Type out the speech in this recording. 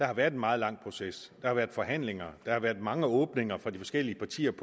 har været en meget lang proces der har været forhandlinger der har været mange åbninger fra de forskellige partiers